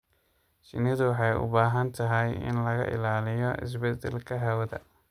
Shinnidu waxay u baahan tahay in laga ilaaliyo isbeddelka hawada.